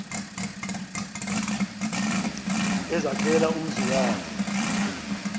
ezakhela umzi wakhe